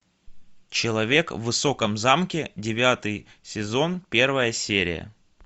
человек в высоком замке девятый сезон первая серия